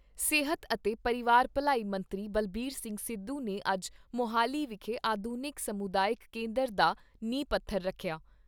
ਸਿਹਤ ਅਤੇ ਪਰਿਵਾਰ ਭਲਾਈ ਮੰਤਰੀ ਬਲਬੀਰ ਸਿੰਘ ਸਿੱਧੂ ਨੇ ਅੱਜ ਮੁਹਾਲੀ ਵਿਖੇ ਆਧੁਨਿਕ ਸਮੁਦਾਇਕ ਕੇਂਦਰ ਦਾ ਨੀਂਹ ਪੱਥਰ ਰੱਖਿਆ।